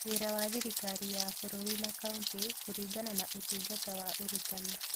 Wĩra wa Thirikari ya Bũrũri na Kauntĩ kũringana na Ũtungata wa Ũrutani